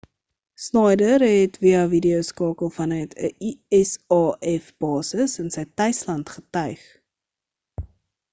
schneider het via videoskakel vanuit 'n usaf basis in sy tuisland getuig